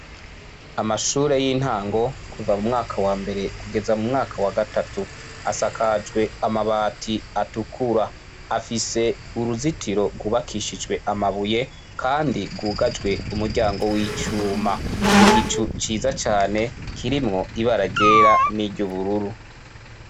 Amashure y'intango kuva mu mwaka wambere kugeza mu mwaka wa gatatu, asakajwe amabati atukura. Afise uruzitiro rwubakishijwe amabuye kandi rwugajwe umuryango w'icuma. Igicu ciza cane kirimwo ibara ryera n'iry'ubururu.